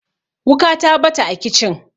wuka ta bata a kicin